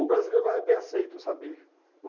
O brasileiro lá é bem aceito, sabe?